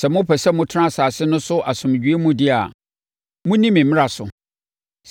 “ ‘Sɛ mopɛ sɛ motena asase no so asomdwoeɛ mu deɛ a, monni me mmara so.